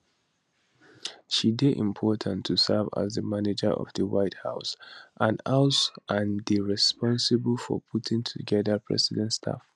she dey important to serve as di manager of di white house and house and dey responsible for putting togeda president staff